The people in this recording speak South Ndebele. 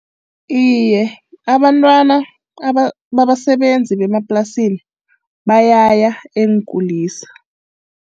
Iye, abantwana babasebenzi bemaplasini bayaya eenkulisa.